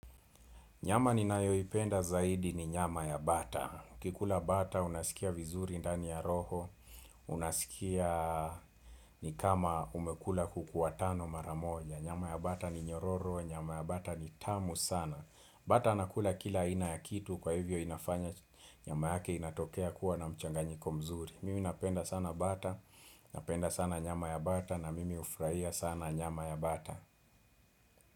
Nyama ni nayoipenda zaidi ni nyama ya bata. Ukikula bata unasikia vizuri ndani ya roho, unasikia ni kama umekula kuku watano maramoja. Nyama ya bata ni nyororo, nyama ya bata ni tamu sana. Bata anakula kila ina ya kitu kwa hivyo inafanya nyama yake inatokea kuwa na mchanganyiko mzuri. Mimi napenda sana bata, napenda sana nyama ya bata na mimi ufrahia sana nyama ya bata.